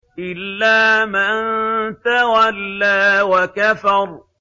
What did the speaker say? إِلَّا مَن تَوَلَّىٰ وَكَفَرَ